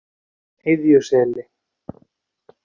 Iðjuseli